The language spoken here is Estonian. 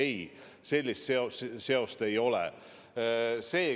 Ei, sellist seost ei ole.